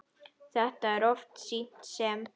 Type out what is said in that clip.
Þetta er oft sýnt sem